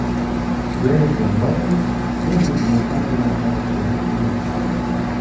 Jennifer Lopes sevgisini qaytadan topishiga umid qilmoqda.